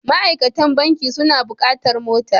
Ma'aikatan banki suna buƙatar mota.